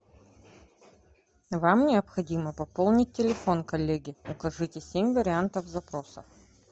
вам необходимо пополнить телефон коллеги укажите семь вариантов запроса